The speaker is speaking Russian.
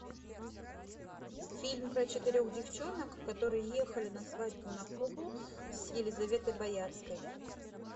фильм про четырех девчонок которые ехали на свадьбу на кубу с елизаветой боярской